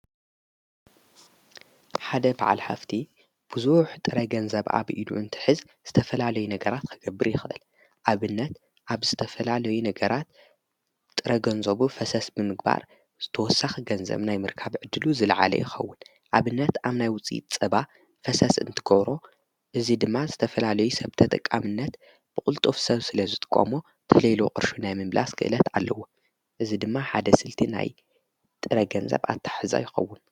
ሓደ በዓል ሃፍቲ ብዙሕ ጥረገንዘብ ኣብ ኢዱ እንትሕዝ ዝተፈላለይ ነገራት ኸገብር ይኽልል፡፡ ኣብነት ኣብ ዝተፈላለዩ ነገራት ጥረ ገንዘቡ ፈሰስ ብምግባር ተወሳኺ ገንዘብ ናይ ምርካብ ዕድሉ ዝለዓለ ይኸውን፡፡ ኣብነት ኣብ ናይ ውፂኢት ፀባ ፈሰስ እንትብሮ እዚ ድማ ዝተፈላሌዩ ሰብት ተጠቃምነት ብቑልጡፍ ሰብ ስለዝጥቆሞ ተሎ ኢሉ ቕርሹ ናይ ምምላስ ክእለት ኣለዎ፡፡ እዚ ድማ ሓደ ስልቲ ናይ ጥረ ገንዘብ ኣታሓሕዛ ይኸውን፡፡